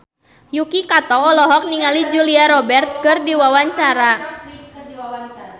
Yuki Kato olohok ningali Julia Robert keur diwawancara